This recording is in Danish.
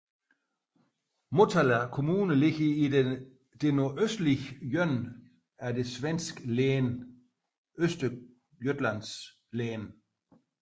Motala kommune ligger i det nordøstlige hjørne af det svenske län Östergötlands län